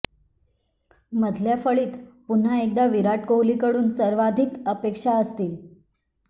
मधल्या फळीत पुन्हा एकदा विराट कोहलीकडून सर्वाधिक अपेक्षा असतील